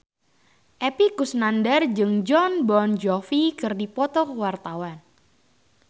Epy Kusnandar jeung Jon Bon Jovi keur dipoto ku wartawan